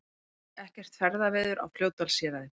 Ekkert ferðaveður á Fljótsdalshéraði